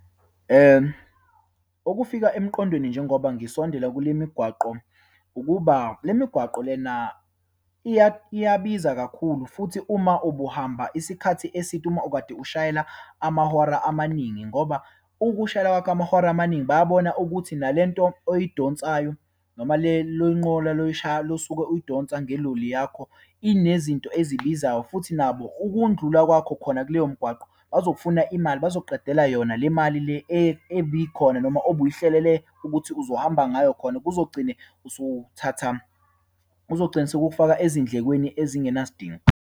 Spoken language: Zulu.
Okufika emqondweni njengoba ngisondela kule migwaqo, ukuba le migwaqo lena iyabiza kakhulu. Futhi uma ubuhamba isikhathi eside, uma ukade ushayela amahora amaningi, ngoba ukushayela kwakho amahora amaningi bayabona ukuthi nalento oyidonsayo, noma le loyinqola lo lo osuke uyidonsa ngeloli yakho inezinto ezibizayo, futhi nabo ukundlula kwakho khona kuleyo mgwaqo bazokufuna imali, bazokuqedela yona le mali le ebikhona noma obuyihlelele ukuthi uzohamba ngayo. Khona kuzogcine usuthatha, kuzogcina sekukufaka ezindlekweni ezingenasidingo.